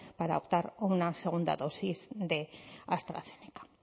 para optar a una segunda dosis de astrazeneca